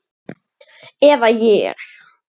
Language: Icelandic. Eða ég.